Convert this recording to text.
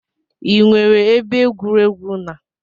I nwere ebe egwuregwu n'